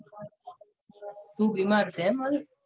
તું બીમાર થયો એમ હવે.